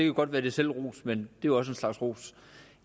godt være lidt selvros men det jo også en slags ros